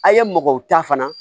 A' ye mɔgɔ ta fana